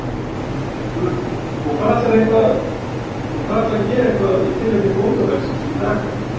Hugrún: Og ætlarðu að gera eitthvað í tilefni bóndadagsins í dag þá?